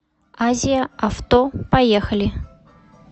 азия авто поехали